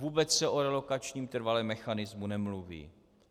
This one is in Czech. Vůbec se o relokačním trvalém mechanismu nemluví.